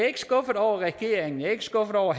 ikke skuffet over regeringen jeg er ikke skuffet over